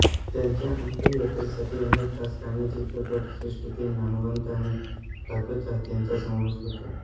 त्यांच्या अंत्ययात्रेसाठी अनेक राजकारणी चित्रपट सृष्टीतील नामवंत आणि लाखो चाहत्यांचा समावेश होता